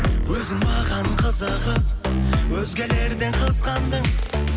өзің маған қызығып өзгелерден қызғандың